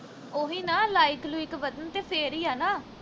ਉਹੀ ਨਾ like ਲੁਇਕ ਵਧਣ ਤੇ ਫਿਰ ਈ ਆ ਨਾ